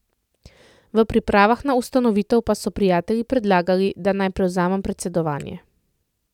V pripravah na ustanovitev pa so prijatelji predlagali, da naj prevzamem predsedovanje.